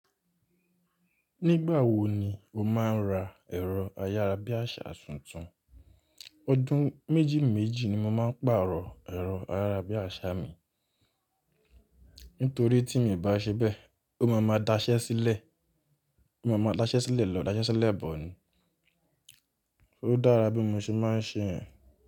Nígbà wo ni o máa ń ra ẹ̀rọ ayára bí àṣá tuntun? Ọdún méjì méjì ni mo máa ń pàrọ̀ ẹ̀rọ ayára bí àṣá mi. Nítorí tí mi ò bá ṣe bẹ́ẹ̀, ó máa ma daṣẹ́ sílẹ̀, ó máa ma daṣẹ́ sílẹ̀ lọ, daṣẹ́ sílẹ̀ bọ̀n. Ó dára bí mo ṣe máa ń ṣe ẹ̀.